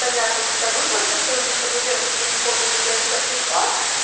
понятно когда выплатят потому что во-первых я не помню когда я туда пришла